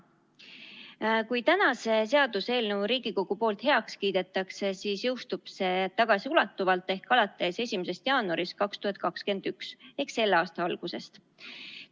Kui täna see seaduseelnõu Riigikogus heaks kiidetakse, siis jõustub see tagasiulatuvalt alates 1. jaanuarist 2021 ehk selle aasta algusest.